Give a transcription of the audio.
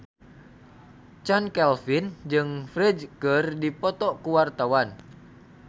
Chand Kelvin jeung Ferdge keur dipoto ku wartawan